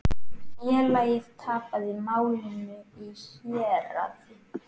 Félagið tapaði málinu í héraði.